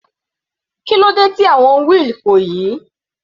Kílódé tí àwọn wheel kò yí?